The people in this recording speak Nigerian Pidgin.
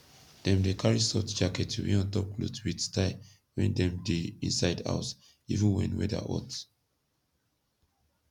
dem dey karry soft jacket to wear ontop kloth wit style wen dem dey inside house even wen weather hot